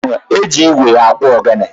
E ji igwe akpụ ogene.